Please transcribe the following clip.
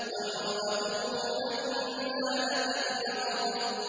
وَامْرَأَتُهُ حَمَّالَةَ الْحَطَبِ